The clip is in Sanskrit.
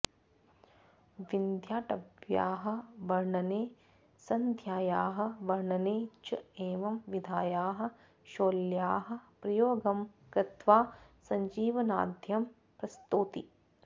विन्ध्याटव्याः वर्णने सन्ध्यायाः वर्णने च एवं विधायाः शौल्याः प्रयोगं कृत्वा सजीवनाद्यं प्रस्तौति